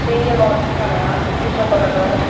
iyo gorodon tara pujo gorodon.